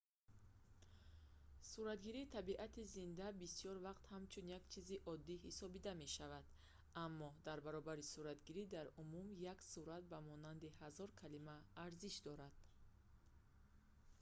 суратгирии табиати зинда бисёр вақт ҳамчун як чизи одӣ ҳисобида мешавад аммо дар баробари суратгирӣ дар умум як сурат ба монанди ҳазор калима арзиш дорад